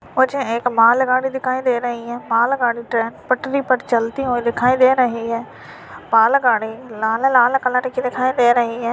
मुझे एक मालगाड़ी दिखाई दे रही है मालगाड़ी ट्रैन पटरी पर चलती हुई दिखाई दे रही है मालागाड़ी लाल-लाल कलर की दिखाई दे रही है।